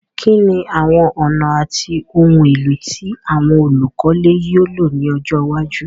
Kíní àwon ònà àti oun élò ti àwon olùkọ́lé yio lo ni ojó iwájú